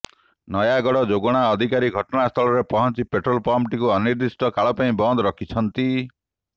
ନୟାଗଡ ଯୋଗାଣ ଅଧିକାରୀ ଘଟଣାସ୍ଥଳରେ ପହଞ୍ଚି ପେଟ୍ରୋଲ ପମ୍ପଟିକୁ ଅନିର୍ଦ୍ଧିଷ୍ଟ କାଳ ପାଇଁ ବନ୍ଦ କରିଛନ୍ତି